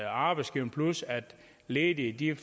arbejdsgiverne plus at de ledige